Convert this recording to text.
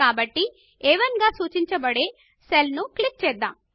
కాబట్టి మొదటి అ1 గా సూచించబడిన సెల్ క్లిక్ చేద్దాము